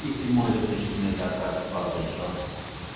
и седьмой заключительный заказ папа джонс